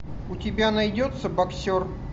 у тебя найдется боксер